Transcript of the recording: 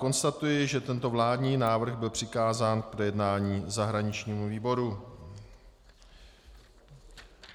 Konstatuji, že tento vládní návrh byl přikázán k projednání zahraničnímu výboru.